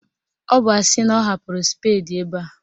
Ọ bụ asị na ọ hapụrụ spedi ebe a